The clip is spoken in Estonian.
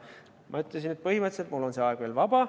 Ma ütlesin, et põhimõtteliselt on mul see aeg veel vaba.